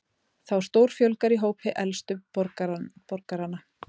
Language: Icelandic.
Þá stórfjölgar í hópi elstu borgaranna